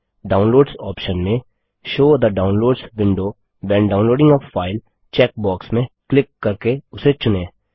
downloads option में show the downloads window when downloading a file check box में click करके उसे चुनें